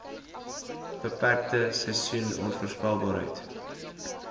beperkte seisoen onvoorspelbaarheid